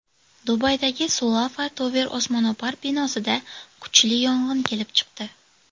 Dubaydagi Sulafa Tower osmono‘par binosida kuchli yong‘in kelib chiqdi.